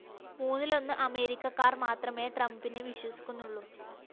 മൂന്നിലൊന്ന് അമേരിക്കക്കാര്‍ മാത്രമേ ട്രംപിനെ വിശ്വസിക്കുന്നുള്ളൂ